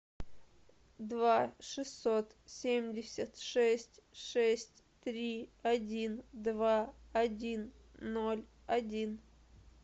два шестьсот семьдесят шесть шесть три один два один ноль один